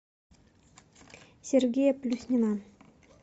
сергея плюснина